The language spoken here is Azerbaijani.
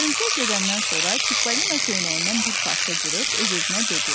Hörümçək gedəndən sonra Çippolina köynəyindən bir parça cırıb öz-özünə dedi: